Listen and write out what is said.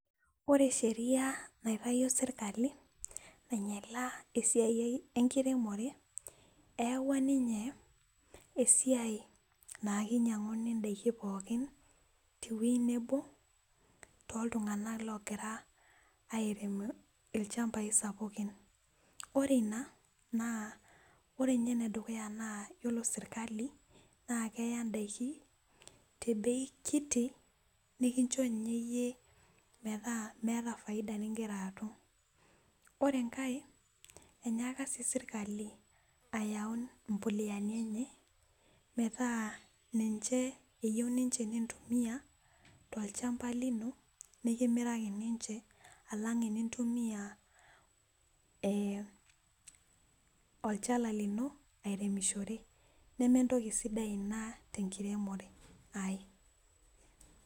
Ore sheria naitayio sirkali tenchoto esiai enkiremore ,eyaua ninye esiai naa keinyanguni ndaiki pookin teweji nebo tooltunganak ogira airem iwejitin sapukin. ore ina naa ore sirkali naa keya ndaiki the bei kiti nikincho yie metaa miata faida ningira atum. ore enkae enyanak sii sirkali ayau mbuleani enya metaa ninye eyieu ninche nintumiya tolchampa lino nikimiraki ninche alang nintumiya olchala lino aireshore nemeitoki sidai ina tenkiremore.